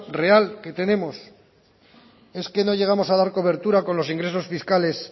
real que tenemos es que no llegamos a dar cobertura con los ingresos fiscales